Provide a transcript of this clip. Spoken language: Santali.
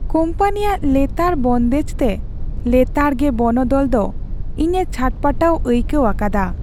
ᱠᱚᱢᱯᱟᱱᱤᱭᱟᱜ ᱞᱮᱛᱟᱲ ᱵᱚᱱᱫᱮᱡᱽᱛᱮ ᱞᱮᱛᱟᱲ ᱜᱮ ᱵᱚᱱᱚᱫᱚᱞ ᱫᱚ ᱤᱧᱮ ᱪᱷᱟᱴᱯᱟᱹᱴᱟᱣ ᱟᱹᱭᱠᱟᱹᱣ ᱟᱠᱟᱫᱟ ᱾